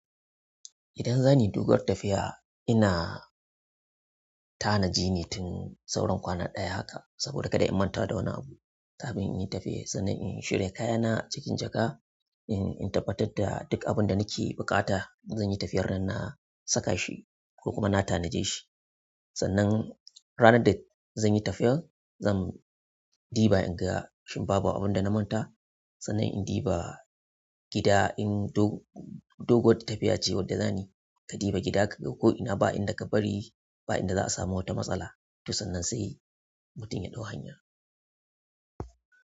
Idan za ni doguwar tafiya, ina tanaji ne tun sauran kwana ɗaya haka. Saboda kada in manta da wani abu. Kagin in yi tafiya sannan in shirya kayana a cikin jaka, in tabbatar da duk abin da nake buƙata. Zan yi tafiyar nan na saka shi ko kuma na tanaje shi. Sannan ranar da zan yi tafiyar, zan diba in ga shin babu abunda na manta. Sannan in diba gida in doguwar tafiya ce wadda za ni, ka diba gida kaga ko ina ba'inda ka bari, ba'inda za a samu wata matsala. Tosan nan sai mutum ya ɗau hanya.